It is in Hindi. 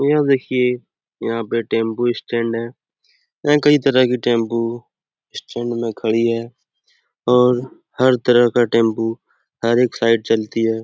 यह देखिए यहाँ पे टेंपो स्टैंड है यहाँ कई तरह की टेंपो स्टैंड में खड़ी है और हर तरह का टेंपो हर एक साइड चलती है।